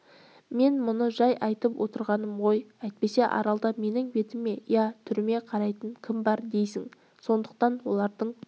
мен мұны жай айтып отырғаным ғой әйтпесе аралда менің бетіме я түріме қарайтын кім бар дейсің сондықтан олардың